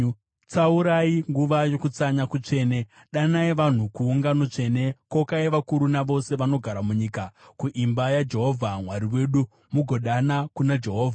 Tsaurai nguva yokutsanya kutsvene; danai vanhu kuungano tsvene. Kokai vakuru navose vanogara munyika kuimba yaJehovha Mwari wedu, mugodana kuna Jehovha.